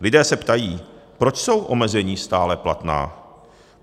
Lidé se ptají: Proč jsou omezení stále platná.